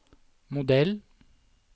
modell